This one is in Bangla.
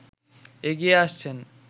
এগিয়ে আসছেন